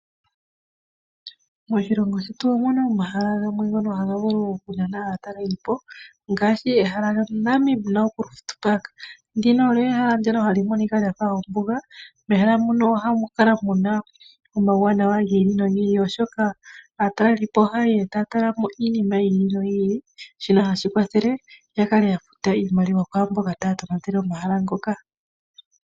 Moshilongo shetu omuna omahala gamwe ngono haga nana aataleli po ngaashi Namib Naukluft Park. Ehala ndino ohali monika lyafa ombuga. Mehala mono ohamukala muna omawuwanawa gi ili nogi ili oshoka aatalelipo ohayeya taya tala iinima yi ili noyi ili, shono hashikwathele yakale yafuta oshimaliwa kwaamboka taya tonatele omahala ngoka.